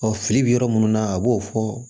fili bɛ yɔrɔ minnu na a b'o fɔ